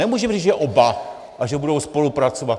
Nemůžeme říci, že oba a že budou spolupracovat.